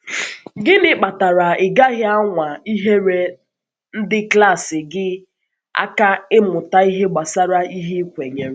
Gịnị kpatara ị gaghị anwa inyere ndị klas gị aka ịmụta ihe gbasara ihe ị kwenyere?